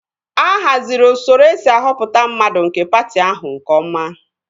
A haziri usoro esi ahọpụta mmadụ nke patị ahụ nke ọma